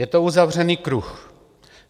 Je to uzavřený kruh.